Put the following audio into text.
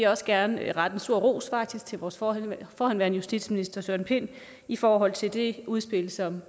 også gerne rette en stor ros til vores forhenværende forhenværende justitsminister søren pind i forhold til det udspil som